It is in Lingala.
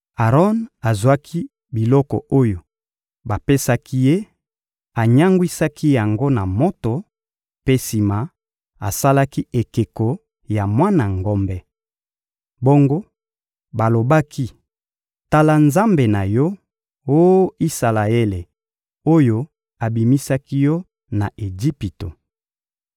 Aron azwaki biloko oyo bapesaki ye, anyangwisaki yango na moto, mpe sima, asalaki ekeko ya mwana ngombe. Bongo balobaki: — Tala nzambe na yo, oh Isalaele, oyo abimisaki yo na Ejipito.